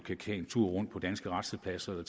tage en tur rundt på danske rastepladser og